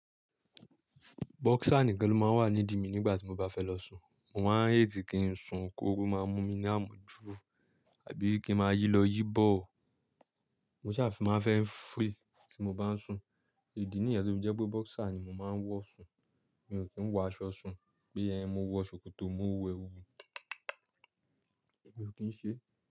Bokser nìkan ló máa ń wà ní ìdí mi nígbà tí mo bá fẹ́ lọ sun. Mo máa ń hate kin sun kóru máa mú mi ní àmójú tabi kí n ma yí lọ yí bọ̀. Mo sa máa fẹ́ free tí mo bá ń sun. Ìdí nìyẹn tó fi jẹ́ pé bokser ni mo máa ń wọ̀ sun. Mi ò kí ń wọ aṣọ sun pé ẹ mo wọ ṣòkòtò, mo wọ ẹwù. Èmi ò kí ń ṣe.